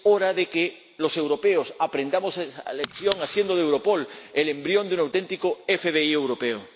Es hora de que los europeos aprendamos la lección haciendo de Europol el embrión de un auténtico FBI europeo.